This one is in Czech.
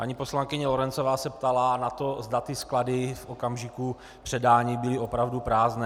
Paní poslankyně Lorencová se ptala na to, zda ty sklady v okamžiku předání byly opravdu prázdné.